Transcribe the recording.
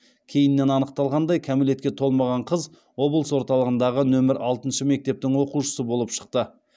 кейіннен анықталғандай кәмелетке толмаған қыз облыс орталығындағы нөмір алтыншы мектептің оқушысы болып шықты